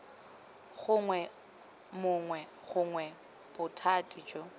gongwe mongwe gongwe bothati jo